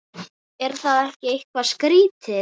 Er það ekki eitthvað skrítið?